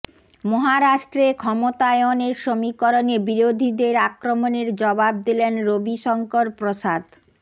মহারাষ্ট্রে ক্ষমতায়নের সমীকরণে বিরোধীদের আক্রমণের জবাব দিলেন রবিশঙ্কর প্রসাদ